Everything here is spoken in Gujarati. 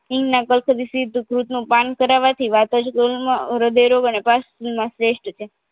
હિંગના સિદ્ધબુજ નું પાન કરાવાથી વાતજ રોગમાં હ્રદયરોગ અને શ્રેસ્ટ છે